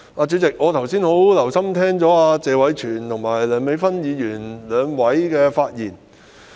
主席，我剛才十分留心聆聽謝偉銓議員和梁美芬議員的發言。